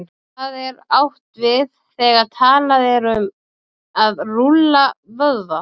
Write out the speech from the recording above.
Hvað er átt við, þegar talað er um að rúlla vöðva?